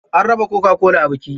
An raba coca-cola a biki.